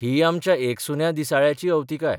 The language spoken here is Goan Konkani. ही आमच्या एकसुन्या दिसाळ्याची अवतिकाय.